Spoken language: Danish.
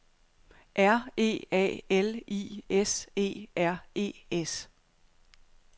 R E A L I S E R E S